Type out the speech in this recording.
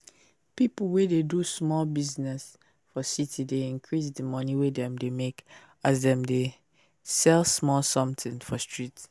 pipu wey dey do small business for city dey increase di money wey dem dey make as dem dey sell somthing for street